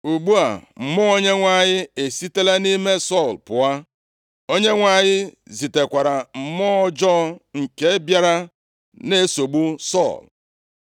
Ugbu a, Mmụọ Onyenwe anyị esitela nʼime Sọl pụọ, Onyenwe anyị zitekwara mmụọ ọjọọ nke bịara na-esogbu Sọl.